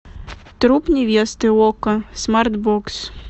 труп невесты окко смарт бокс